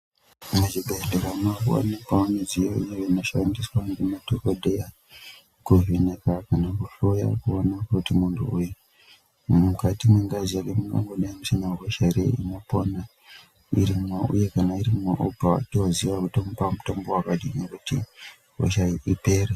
Muzvibhedhlera mwave kuwanikwawo midziyo inoshandiswa ngemadhokodheya, kuvheneka kana kuhloya kuona kuti munthu uyu, mukati mwengazi yake, mungangodai musina hosha ere inopona irimwo, uye kana iri muropa, toziya kuti tomupa mutombo wakadini kuti hosha iyi ipere.